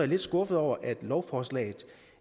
lidt skuffet over at lovforslaget